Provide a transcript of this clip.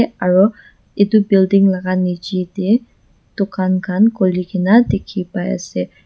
aro edu building laka nichae tae dukan khan khulina dikhi pai ase.